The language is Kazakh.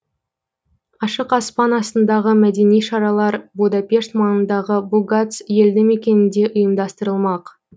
ашық аспан астындағы мәдени шаралар будапешт маңындағы бугац елді мекенінде ұйымдастырылмақ